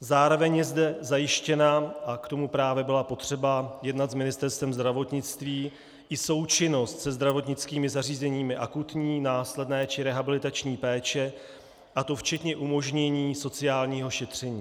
Zároveň je zde zajištěna, a k tomu právě bylo potřeba jednat s Ministerstvem zdravotnictví, i součinnost se zdravotnickými zařízeními akutní, následné či rehabilitační péče, a to včetně umožnění sociálního šetření.